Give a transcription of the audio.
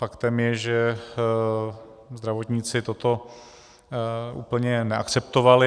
Faktem je, že zdravotníci toto úplně neakceptovali.